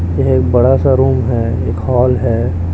ये एक बड़ा सा रूम है एक हॉल है।